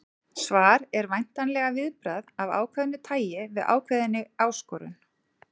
Svar er væntanlega viðbragð af ákveðnu tæi við ákveðinni áskorun.